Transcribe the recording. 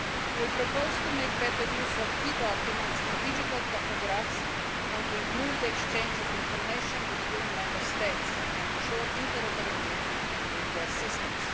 We propose to make better use of e-documents and digital tachographs, to improve the exchange of information between Member States and to ensure interoperability between their